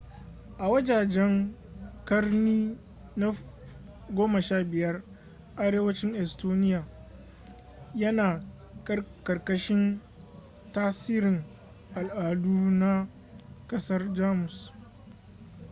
a wajejen ƙarni na 15 arewacin estonia yana ƙarƙashin tasirin al'adu na ƙasar jamus